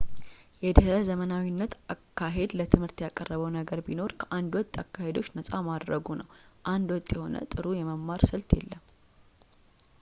የድሕረ ዘመናዊነት አካሄድ ለትምህርት ያቀረበው ነገር ቢኖር ከአንድ ወጥ አካሄዶች ነፃ ማድረጉ ነው አንድ ወጥ የሆነ ጥሩ የመማር ስልት የለም